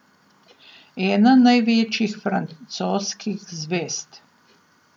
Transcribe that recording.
Ena največjih francoskih zvezd.